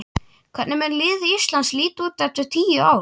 Hvernig mun lið Íslands líta út eftir tíu ár?